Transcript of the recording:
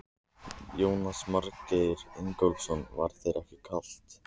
Jónas Margeir Ingólfsson: Var þér ekkert kalt?